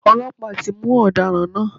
Ọlọ́pàá ti mú ọ̀daràn náà.